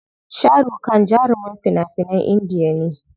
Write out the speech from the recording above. Sharukhan jarumin fina finan Indiya ne.